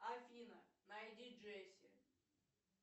афина найди джесси